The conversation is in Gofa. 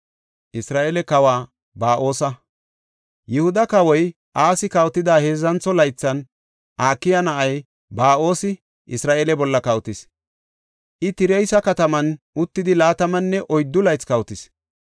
Yihuda kawoy Asi kawotida heedzantho laythan Akiya na7ay Ba7oosi Isra7eele bolla kawotis; I Tirsa kataman uttidi laatamanne oyddu laythi kawotis.